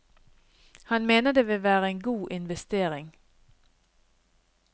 Han mener det vil være en god investering.